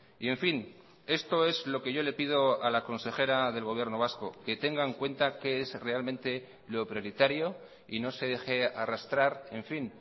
y en fin esto es lo que yo le pido a la consejera del gobierno vasco que tenga en cuenta qué es realmente lo prioritario y no se deje arrastrar en fin